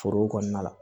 Foro kɔnɔna la